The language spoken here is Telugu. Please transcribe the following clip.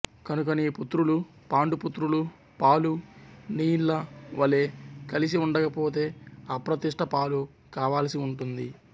కనుక నీ పుత్రులు పాండు పుత్రులు పాలు నీళ్ళ వలె కలిసి ఉండక పోతే అప్రతిష్ట పాలు కావాలసి ఉంటుంది